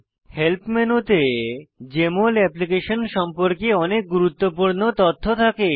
help মেনুতে JML application সম্পর্কে অনেক গুরুত্বপূর্ণ তথ্য থাকে